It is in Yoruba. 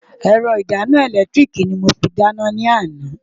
Ẹ̀rọ ìdáná ẹ̀lẹ́tíríìkì ni mo fi dáná lánàá.